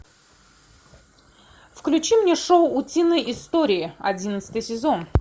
включи мне шоу утиные истории одиннадцатый сезон